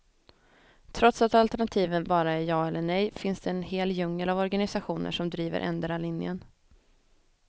Trots att alternativen bara är ja eller nej finns det en hel djungel av organisationer som driver endera linjen.